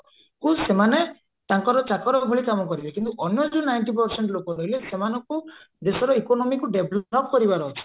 କୁ ସେମାନେ ତାଙ୍କର ଚାକର ଭଳି କାମ କରିବେ କିନ୍ତୁ ଅନ୍ୟ ଯୋଉ ninety percent ଲୋକ ରହିଲେ ସେମାନଙ୍କୁ ଦେଶର economyକୁ develop କରିବାର ଅଛି